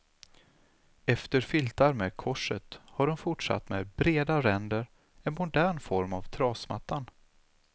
Efter filtar med korset har hon fortsatt med breda ränder, en modern form av trasmattan.